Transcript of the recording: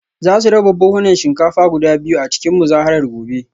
Za su raba buhunan shinkafa guda biyu a cikin muzaharar gobe